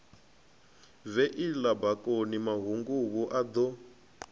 viela bakoni mahunguvhu a do